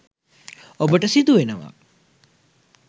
ඔබට සිදුවෙනවා